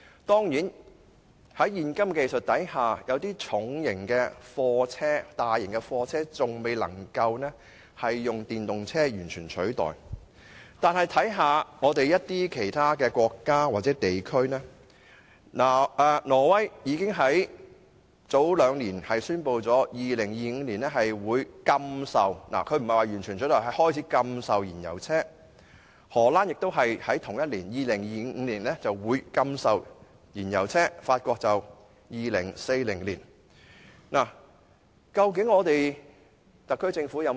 當然，在現今技術下，有些重型貨車和大型車輛仍未能以電動車完全取代，但試看其他國家或地區，挪威雖未至於完全取締燃油汽車，但卻早於兩年前宣布會在2025年開始禁售燃油汽車，荷蘭同樣會在2025年禁售燃油汽車，法國則會在2040年採取這措施。